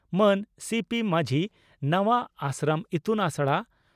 ᱢᱟᱱ ᱥᱤᱹᱯᱤᱹ ᱢᱟᱹᱡᱷᱤ ᱱᱟᱣᱟᱹᱹᱹᱹᱹ ᱟᱥᱨᱚᱢ ᱤᱛᱩᱱ ᱟᱥᱲᱟ